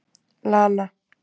Lana